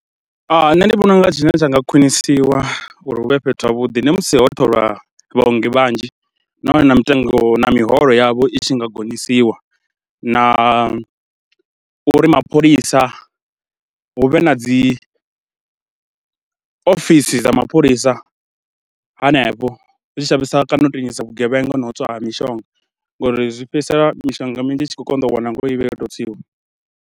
Nṋe ndi vhona u nga zwine zwa nga khwinisiwa uri hu vhe fhethu havhuḓi ndi musi ho tholwa vhaongi vhanzhi nahone na mitengo na miholo yavho i tshi nga gonyisiwa na uri mapholisa hu vhe na dzi ofisi dza mapholisa hanefho. Zwi tshi shavhisa kana u vhugevhenga na u tswa ha mishonga ngauri zwi fhedzisela mishonga minzhi i tshi khou konḓa u wanala ngori i vha yo tou tswiwa.